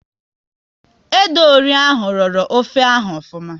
Ede ori ahụ rọrọ ofe ahụ ofuma